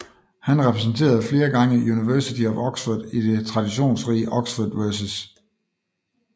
Han repræsenterede flere gange University of Oxford i det traditionsrige Oxford vs